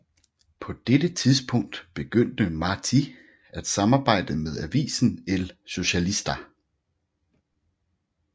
På dette tidspunkt begyndte Martí at samarbejde med avisen El Socialista